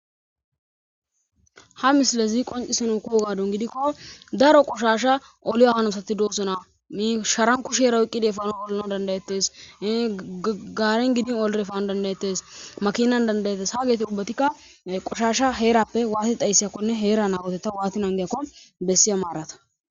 Ha misile zi qoncisinuukoo gadun gidikko daro qoshasha oliyo hanosati doosona misharan kusheera wuqqide fano bollana dandayettes gaaren gidin olrefano dandayettes makinan dandayettes ha geeti ubbatikka qoshasha heerappe waati dhaysseyakkone heera nawotetta waati n angeyakko bessiya maarata.